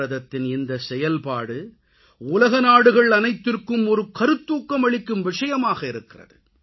பாரதத்தின் இந்தச் செயல்பாடு உலக நாடுகள் அனைத்திற்கும் ஒரு கருத்தூக்கம் அளிக்கும் விஷயமாக இருக்கிறது